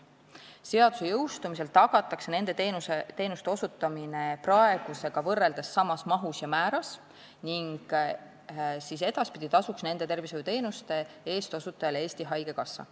Seaduse jõustumisel tagatakse nende teenuste osutamine praegusega võrreldes samas mahus ja määras ning edaspidi tasuks nende tervishoiuteenuste eest osutajale Eesti Haigekassa.